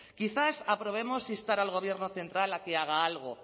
quizás aprobemos instar al gobierno central a que haga algo